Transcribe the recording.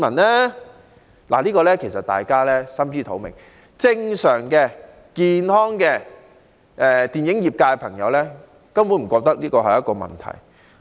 對此大家其實心知肚明，因為正常、健康的電影業人士根本不會感到這是一個問題。